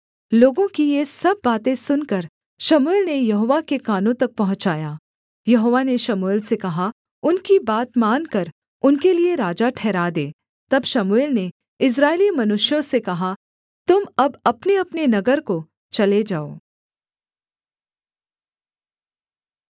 यहोवा ने शमूएल से कहा उनकी बात मानकर उनके लिये राजा ठहरा दे तब शमूएल ने इस्राएली मनुष्यों से कहा तुम अब अपनेअपने नगर को चले जाओ